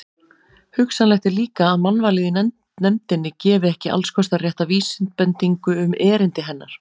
Hugsanlegt er líka, að mannvalið í nefndinni gefi ekki allskostar rétta vísbendingu um erindi hennar.